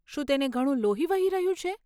શું તેને ઘણું લોહી વહી રહ્યું છે?